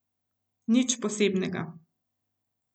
Nič posebnega.